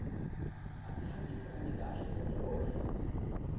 asihambisani kahle nenhloso